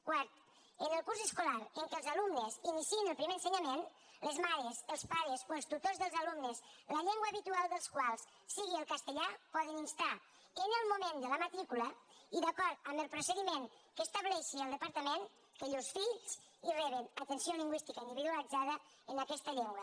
quart en el curs escolar en què els alumnes iniciïn el primer ensenyament les mares els pares o els tutors dels alumnes la llengua habitual dels quals sigui el castellà poden instar en el moment de la matrícula i d’acord amb el procediment que estableixi el departament que llurs fills hi rebin atenció lingüística individualitzada en aquesta llengua